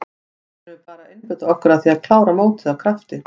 Núna förum við bara að einbeita okkur að því að klára mótið af krafti.